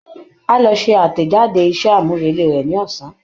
Á lọ ṣẹ àtẹ̀jáde iṣẹ́ àmúrelé rẹ̀ ní ọ̀sán